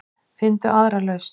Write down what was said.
Finndu aðra lausn.